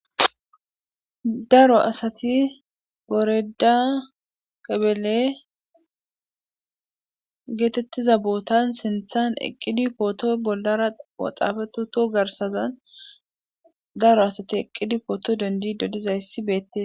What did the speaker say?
Daro asati woreda kebele geetettiza bootan sinthan eqqidi pootho bollaara xafetti utto garssazan daro asati eqqidi pooto dendide dizayssi beettes.